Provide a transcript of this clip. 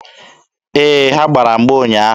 Ee, ha gbara mgba ụnyaahụ.